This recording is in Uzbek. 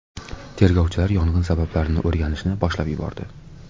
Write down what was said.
Tergovchilar yong‘in sabablarini o‘rganishni boshlab yubordi.